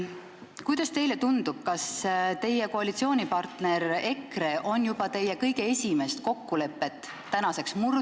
Kuidas teile tundub, kas teie koalitsioonipartner EKRE on juba teie kõige esimest kokkulepet tänaseks murdnud ...